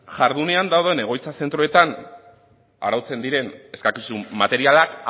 jardunean dauden egoitza zentroetan arautzen diren eskakizun materialak